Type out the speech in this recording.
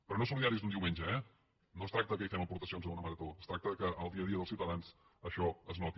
però no solidàries d’un diumenge eh no es tracta que fem aportacions a una marató es tracta que al dia a dia dels ciutadans això es noti